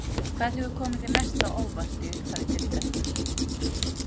Hvað hefur komið þér mest á óvart í upphafi deildarinnar?